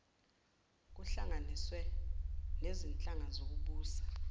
kuhlanganiswe nezinhlaka zokubusa